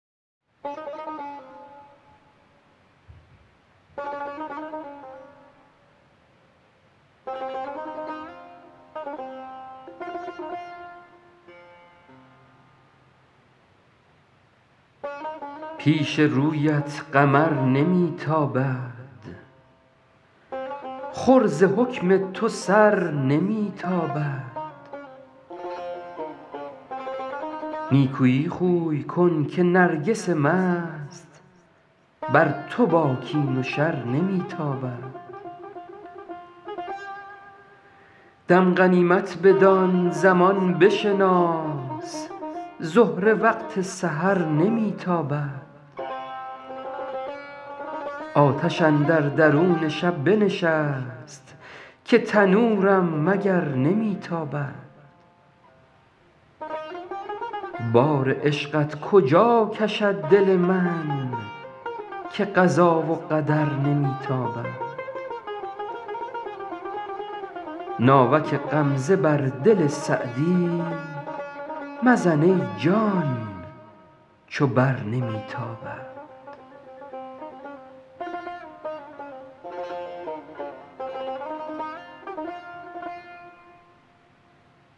پیش رویت قمر نمی تابد خور ز حکم تو سر نمی تابد نیکویی خوی کن که نرگس مست بر تو با کین و شر نمی تابد دم غنیمت بدان زمان بشناس زهره وقت سحر نمی تابد آتش اندر درون شب بنشست که تنورم مگر نمی تابد بار عشقت کجا کشد دل من که قضا و قدر نمی تابد ناوک غمزه بر دل سعدی مزن ای جان چو بر نمی تابد